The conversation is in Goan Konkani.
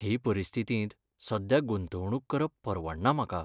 हे परिस्थितींत सध्या गुंतवणूक करप परवडना म्हाका.